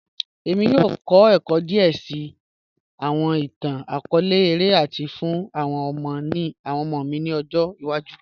ẹ̀mí yọọ̀ kọ̀ ẹ̀kọ́ díè síì awọn ìtàn-akọọlẹ̀ ọ̀rẹ̀ lati sọ̀ fun awọn ọmọ mi ni ọ̀jọ́ iwaju